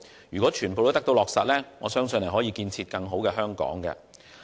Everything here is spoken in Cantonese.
如果全部皆得以落實，我相信將可建設更美好的香港。